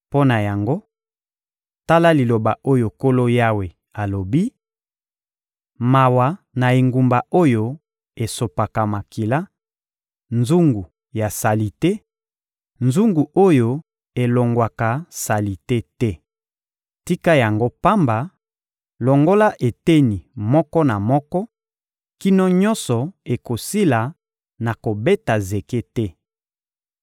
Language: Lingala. Mpo na yango, tala liloba oyo Nkolo Yawe alobi: Mawa na engumba oyo esopaka makila, nzungu ya salite, nzungu oyo elongwaka salite te! Tika yango pamba, longola eteni moko na moko kino nyonso ekosila na kobeta zeke te.